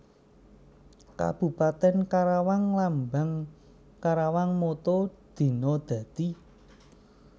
Kabupatèn KarawangLambang KarawangMotto Dina Dadi